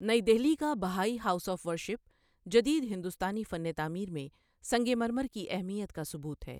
نئی دہلی کا Baha'i house of worship جدید ہندوستانی فن تعمیر میں سنگ مرمر کی اہمیت کا ثبوت ہے۔